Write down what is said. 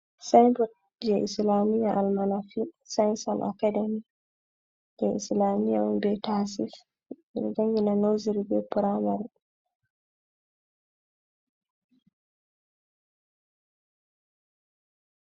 Saenbot je islamiya almanafi senson akademi. je islami on be tasif ɓeɗo jangina noseru be puramari.